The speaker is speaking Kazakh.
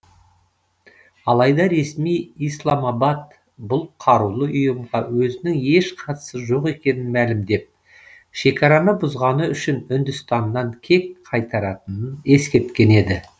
алайда ресми исламабад бұл қарулы ұйымға өзінің еш қатысы жоқ екенін мәлімдеп шекараны бұзғаны үшін үндістаннан кек қайтаратынын ескерткен еді